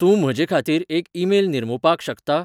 तूं म्हजेखातीर एक ईमेल निर्मुपाक शकता?